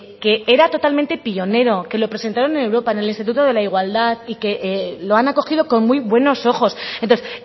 que era totalmente pionero que lo presentaron en europa en el instituto de la igualdad y que lo han acogido con muy buenos ojos entonces